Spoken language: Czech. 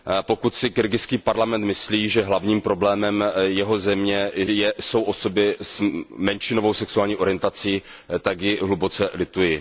Pokud si kyrgyzský parlament myslí, že hlavním problémem jeho země jsou osoby s menšinovou sexuální orientací, tak jej hluboce lituji.